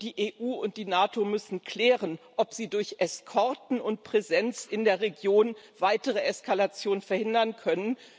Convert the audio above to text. Und die EU und die NATO müssen klären, ob sie durch Eskorten und Präsenz in der Region eine weitere Eskalation verhindern können.